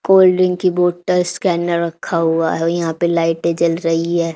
Cold drink की bottles scanner रखा हुआ है और यहां पे लाइटे जल रही है।